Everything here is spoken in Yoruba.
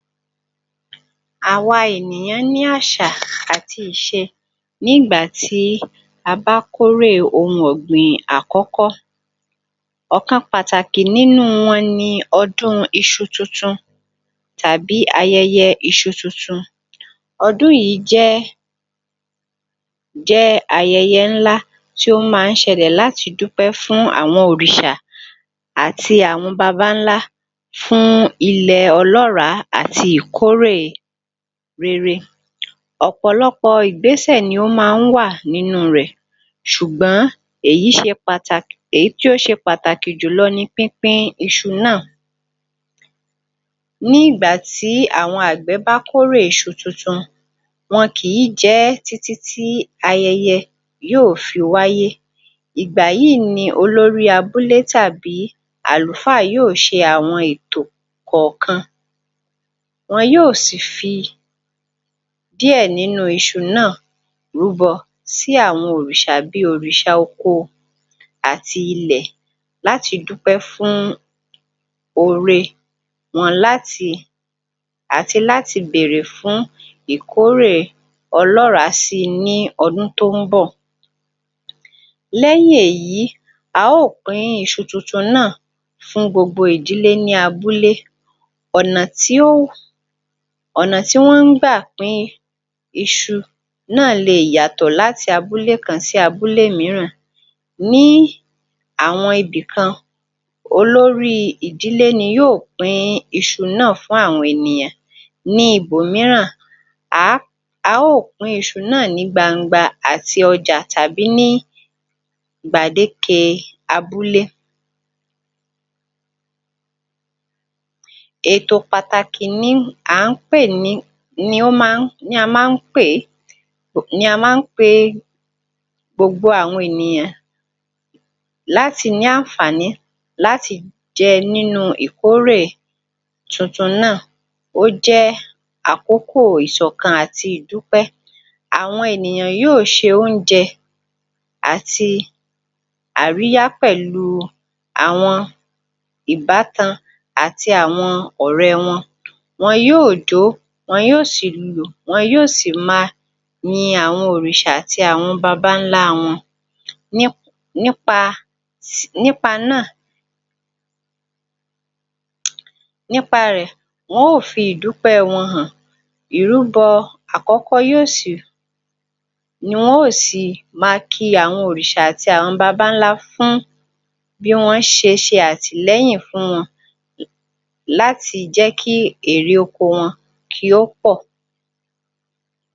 Áwa ènìyàn ní àṣà àti ìṣe, ní ìgbà tí a bá kórè ohun ọ̀gbìn àkọ́kọ́, ọ̀kan pàtàkì nínú wọn ni ọdún iṣu tuntun, tàbí ayẹyẹ Iṣu tuntun, ọdún yìí jẹ́ jẹ́ ayẹyẹ ńlá tó ma ń ṣẹlẹ̀ láti dúpẹ́ fún òrìṣà àti àwọn babańlá fún ilẹ̀ ọlọ́ràá àti ìkórè rere ọ̀pọ̀lọpọ̀ ìgbésẹ ni ó ma ń wà nínú rẹ̀ sùgbón èyí ṣe pàtàkì, èyí tí ó ṣe pàtàkì jùlọ ni pínpín iṣu náà ní ìgbà tí àwọn àgbẹ̀ bá kórè iṣu tuntun, wọn kì í jẹ ẹ́ títí ayẹyẹ yóó fi wáyé ìgbà yí i ni olórí abúlé tàbí àlùfáà yóó ṣe àwọn ètò kọ̀kan, wọn yóó sì fi díẹ̀ nínú iṣu náà rúbọ sí àwọn òrìsà bi òrìsà oko àti ilẹ̀ láti dúpẹ́ fún ore wọn, láti àti láti bèrè fún ikórè ọlọràá sí i ní odún tó ń bọ̀. Lẹ́yìn èyí a ó pín iṣu tuntun náà fún gbogbo ìdílé ní abúlé, ọ̀nà tí ó, ọ̀nà tí wọ́n ń gbà pín iṣu náà le yàtọ̀ láti abúlé kan, sí abúlé míràn ní àwọn ibìkan, olórí ìdílé ni yóó pín iṣu náà fún àwọn ènìyàn, ní ibòmíràn à à ó pín iṣu náà ní gbangba àti ọjá tàbí ní gbàdéke abúlé. Ètò pàtàkì ni à ń pè ní, ni ó ma ń, ni a ma ń pè é, ni a ma ń pe gbogbo àwọn ènìyàn láti ní ànfààní láti jẹ́ nínú ìkórè tuntun náà, ó jẹ́ àkókò ìṣọ̀kan àti ìdúpẹ́. Àwọn ènìyàn yí ó ṣe oúnjẹ àti àríyá pẹ̀lu àwọn ìbátan àti àwọn ọ̀rẹ́ wọn, wọn yóó jọ́, wọn yóó sì lùlù, wọn yóó sì ma yin àwọn òrìṣà àti àwọn babańlá wọn ní ní pa, ṣẹ̀, ní pa náà, ní pa rẹ̀ wọn ó fi ìdúpẹ́ wọn hàn, ìrúbọ àkọ́kọ́ yòó sì, ni wọn ó sì ma kí àwọn òrìṣà àti babańlá fún bí wọn ṣe ṣe àtìlẹ́yìn fún wọn la, láti jẹ́ kí èrè oko wọn kí ó pọ̀